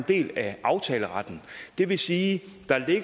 del af aftaleretten det vil sige